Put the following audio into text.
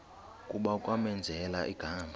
kuba kwamenzela igama